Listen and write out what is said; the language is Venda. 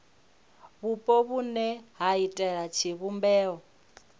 vhupo vhune ha iitela tshivhumbeo